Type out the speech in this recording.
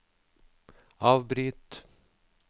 avbryt